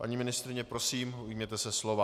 Paní ministryně, prosím, ujměte se slova.